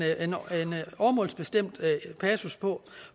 åremålsbestemt passus på